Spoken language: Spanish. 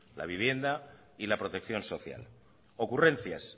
la vivienda y la protección social ocurrencias